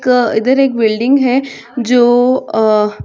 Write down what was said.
क इधर एक बिल्डिंग है जो अ --